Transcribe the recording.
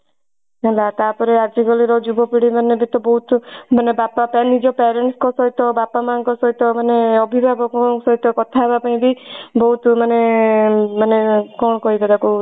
ହେଲା ତାପରେ ଆଜି କାଲି ର ଯୁବ ପିଢୀ ମାନେ ବି ତ ବହୁତ ମାନେ ବାପା ପାଇଁ ନିଜ parents ଙ୍କ ସହିତ ମାନେ ଅଭିଭାବକଙ୍କ ସହିତ କଥା ହବା ପାଇଁ ବି ବହୁତ ମାନେ ମାନେ କଣ କହିବେ ତାକୁ